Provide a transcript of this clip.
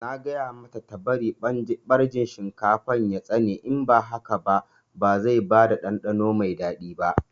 Na gaya mata ta bari ɓarjin shinkafar ya tsane in ba haka ba zai bada ɗanɗano mai daɗi ba